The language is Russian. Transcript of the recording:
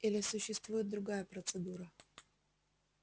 или существует другая процедура